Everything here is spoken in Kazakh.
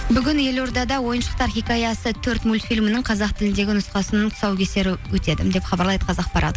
бүгін елордада ойыншықтар хикаясы төрт мультфилімінің қазақ тіліндегі нұсқасының тұсаукесері өтеді деп хабарлайды қазақпарат